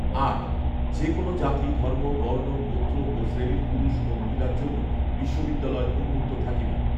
আট যে কোনও জাতি, ধর্ম, বর্ণ, গোত্র ও শ্রেণীর পুরুষ ও মহিলার জন্য বিশ্ববিদ্যালয় উন্মুক্ত থাকিবে৷